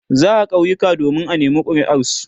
za'a kauyuka domin a nema kuriar su